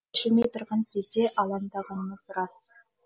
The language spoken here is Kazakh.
шешілмей тұрған кезде алаңдағанымыз рас